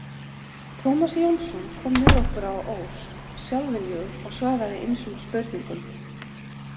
Tómas Jónsson kom með okkur á Ós sjálfviljugur og svaraði ýmsum spurningum.